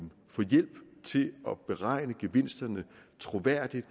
få hjælp til at beregne gevinsterne troværdigt